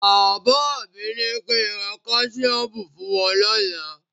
Bàbá mi ní kí ń ra Káṣíọ́mù fún wọ́n lọ́la.